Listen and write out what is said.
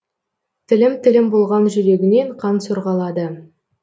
тілім тілім болған жүрегінен қан сорғалады